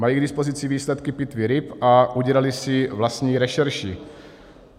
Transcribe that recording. Mají k dispozici výsledky pitvy ryb a udělali si vlastní rešerši.